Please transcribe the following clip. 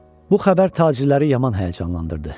Bu xəbər tacirləri yaman həyəcanlandırdı.